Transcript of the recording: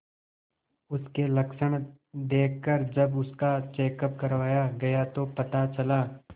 उसके लक्षण देखकरजब उसका चेकअप करवाया गया तो पता चला